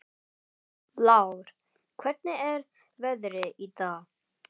Lár, hvernig er veðrið í dag?